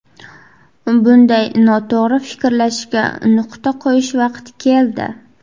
Bunday noto‘g‘ri fikrlashga nuqta qo‘yish vaqti keldi.